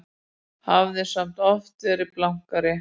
Hafði samt oft verið blankari.